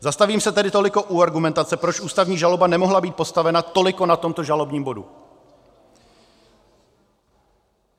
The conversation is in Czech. Zastavím se tedy toliko u argumentace, proč ústavní žaloba nemohla být postavena toliko na tomto žalobním bodu.